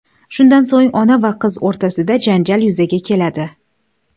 Shundan so‘ng ona va qiz o‘rtasida janjal yuzaga keladi.